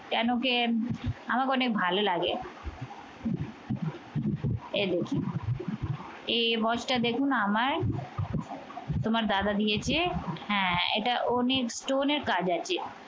কেন কি আমাকে অনেক ভাল লাগে। এই দেখুন এই watch টা দেখুন আমায় তোমার দাদা দিয়েছে। হ্যাঁ, এটা অনেক stone এর কাজ আছে।